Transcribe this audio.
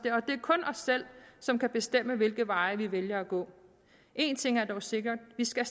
selv som kan bestemme hvilke veje vi vælger at gå én ting er dog sikkert vi skal